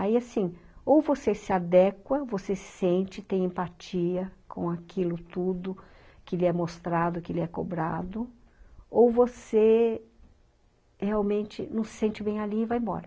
Aí assim, ou você se adequa, você se sente, tem empatia com aquilo tudo que lhe é mostrado, que lhe é cobrado, ou você realmente não se sente bem ali e vai embora.